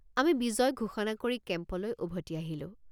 আমি বিজয় ঘোষণা কৰি কেম্পলৈ উভতি আহিলোঁ।